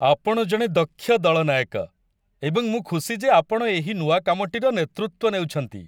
ଆପଣ ଜଣେ ଦକ୍ଷ ଦଳନାୟକ, ଏବଂ ମୁଁ ଖୁସି ଯେ ଆପଣ ଏହି ନୂଆ କାମଟିର ନେତୃତ୍ୱ ନେଉଛନ୍ତି।